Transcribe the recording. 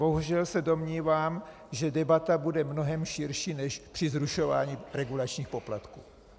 Bohužel se domnívám, že debata bude mnohem širší než při zrušování regulačních poplatků.